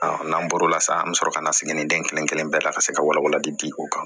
n'an bɔr'o la sa an bɛ sɔrɔ ka na siginiden kelen kelen bɛɛ la ka se ka walawalali di o kan